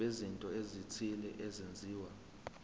bezinto ezithile ezenziwa